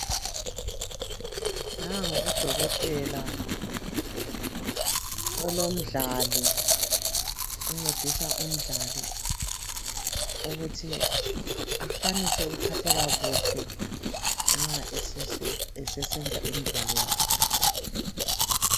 Nangu udokotela ulomdlali, uncedisa umdlali ukuthi akwanise ukuphatheka kuhle nxa esesenza imidlalo yakhe